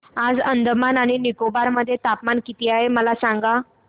आज अंदमान आणि निकोबार मध्ये तापमान किती आहे मला सांगा